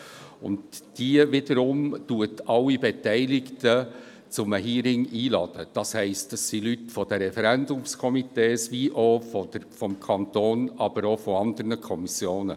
Diese wiederum lädt alle Beteiligten zu einem Hearing ein, das heisst Leute der Referendumskomitees, des Kantons und auch aus anderen Kommissionen.